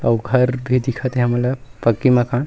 अउ घर भी दिखत हे हमन ला पक्की मकान --